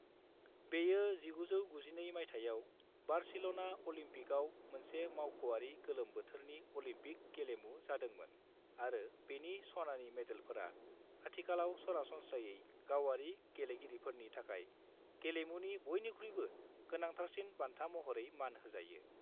बेयो 1992 मायथाइयाव बार्सिल'ना अलिम्पिकआव मोनसे मावख'आरि गोलोम बोथोरनि अलिम्पिक गेलेमु जादोंमोन आरो बेनि सनानि मेडेलफोरा आथिखालाव सरासनस्रायै गावारि गेलेगिरिफोरनि थाखाय गेलेमुनि बयनिख्रुइबो गोनांथारसिन बान्था महरै मान होजायो।